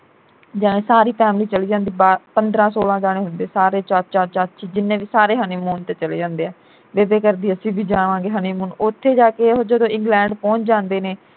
ਜਾ ਸਾਰੀ family ਚਲੀ ਜਾਂਦੀ ਬਾਹਰ ਪੰਦਰਾਂ ਸੋਲਾਂ ਜਾਣੇ ਹੁੰਦੇ ਸਾਰੇ ਚਾਚੀ ਚਾਚੀ ਜਿੰਨੇ ਵੀ ਸਾਰੇ honeymoon ਤੇ ਚਲੇ ਜਾਂਦੇ ਐ । ਬੇਬੇ ਕਰਦੀ ਅਸੀਂ ਵੀ ਜਾਵਾਂਗੇ honeymoon ਉਥੇ ਜਾ ਕੇ ਇਹੋ ਜਦੋਂ ਇੰਗਲੈਂਡ ਪਹੁੰਚ ਜਾਂਦੇ ਨੇ